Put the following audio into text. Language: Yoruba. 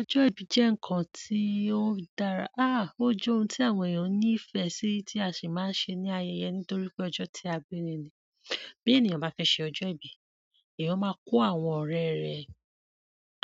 Ọjọ́ ìbí jẹ́ ǹkan tí ó dára, áá o jẹ́ ohun tí àwọn èèyàn ní ìfẹ́ sí tí a sì máa ń ṣe ní ayẹyẹ nítorí pé ọjọ́ tí a bí ni ni. Bí ènìyàn bá fẹ́ ṣe ọjọ́ ìbí, èèyàn máa kó àwọn ọ̀rẹ́ rẹ̀,